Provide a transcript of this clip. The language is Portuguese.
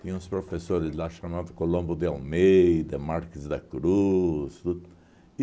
Tinha uns professores lá chamado Colombo de Almeida, Marques da Cruz, tudo.